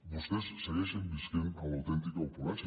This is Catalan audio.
vostès segueixen vivint en l’autèntica opulència